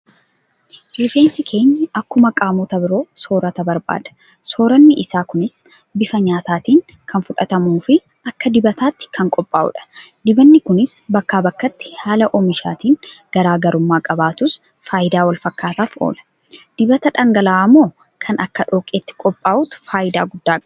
Rifeensi keenya akkuma qaamota biroo soorata barbaada. Sooranni isaa kunis bifa nyaataatiin kan fudhatamuufi akka dibataatti kan qophaa'udha. Dibanni kunis bakkaa bakkatti haala oomishaatiin garaa garummaa qabaatus faayidaa walfakkaataaf oola. Dibata dhangala'oomoo kan akka dhoqqeetti qophaa'utu faayidaa guddaa qaba?